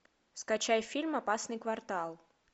скачай фильм опасный квартал